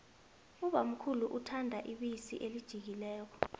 ubamkhulu uthanda ibisi elijiyileko